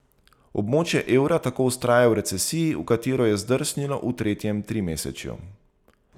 Območje evra tako vztraja v recesiji, v katero je zdrsnilo v tretjem trimesečju.